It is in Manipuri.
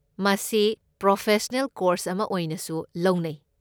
ꯃꯁꯤ ꯄ꯭ꯔꯣꯐꯦꯁꯅꯦꯜ ꯀꯣꯔꯁ ꯑꯃ ꯑꯣꯏꯅꯁꯨ ꯂꯧꯅꯩ꯫